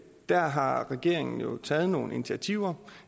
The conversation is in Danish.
der har regeringen taget nogle initiativer